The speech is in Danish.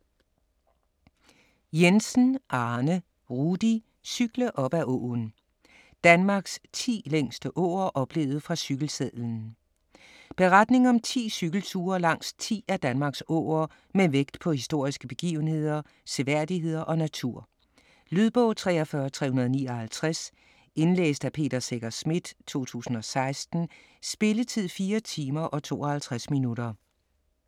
Jensen, Arne Rudi: Cykle op ad åen: Danmarks 10 længste åer oplevet fra cykelsadlen Beretning om 10 cykelture langs 10 af Danmarks åer med vægt på historiske begivenheder, seværdigheder og natur. Lydbog 43359 Indlæst af Peter Secher Schmidt, 2016. Spilletid: 4 timer, 52 minutter.